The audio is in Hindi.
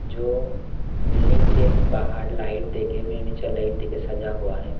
जो बिल्डिंग के बाहर लाइट देके मनीचर लाइट देके सजा हुआ है।